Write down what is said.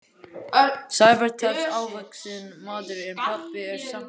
Sævar telst hávaxinn maður en pabbi er samt hærri.